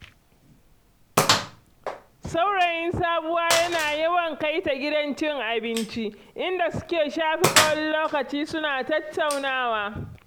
Saurayin Sabuwa yana yawan kai ta gidan cin abinci, inda suke shafe tsawon lokaci suna tattaunawa.